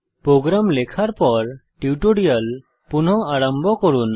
programme লেখার পর tutorial পুনঃ আরম্ভ করুন